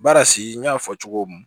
Baara si n y'a fɔ cogo min